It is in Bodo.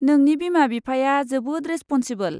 नोंनि बिमा बिफाया जोबोद रेसप'नसिबोल।